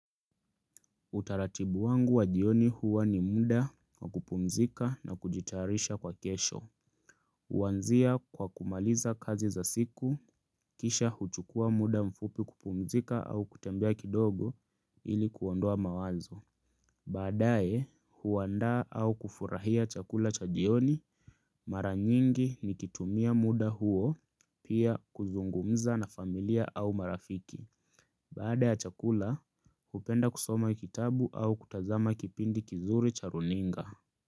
Utaratibu wangu wa jioni huwa ni muda wa kupumzika na kujitayarisha kwa kesho. Huanzia kwa kumaliza kazi za siku, kisha huchukua muda mfupi kupumzika au kutembea kidogo ili kuondoa mawazo. Baadae, huandaa au kufurahia chakula cha jioni, mara nyingi ni kitumia muda huo, pia kuzungumza na familia au marafiki. Baada ya chakula, hupenda kusoma kitabu au kutazama kipindi kizuri cha runinga.